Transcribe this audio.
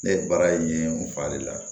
Ne ye baara in ye n fa le la